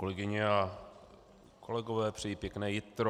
Kolegyně a kolegové, přeji pěkné jitro.